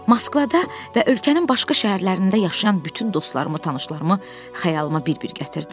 Moskvada və ölkənin başqa şəhərlərində yaşayan bütün dostlarımı, tanışlarımı xəyalıma bir-bir gətirdim.